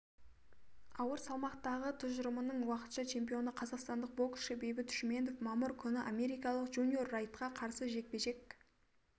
ауыр салмақтағы тұжырымының уақытша чемпионы қазақстандық боксшы бейбіт шүменов мамыр күні америкалық джуниор райтқа қарсы жекпе-жек